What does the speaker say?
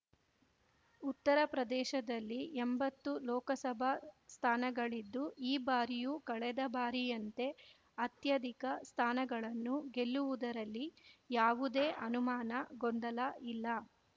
ಉತ್ತರ ಪ್ರದೇಶದಲ್ಲಿ ಎಂಬತ್ತು ಲೋಕಸಭಾ ಸ್ಥಾನಗಳಿದ್ದು ಈ ಬಾರಿಯೂ ಕಳೆದ ಬಾರಿಯಂತೆ ಅತ್ಯಧಿಕ ಸ್ಥಾನಗಳನ್ನು ಗೆಲ್ಲುವುದರಲ್ಲಿ ಯಾವುದೇ ಅನುಮಾನ ಗೊಂದಲ ಇಲ್ಲ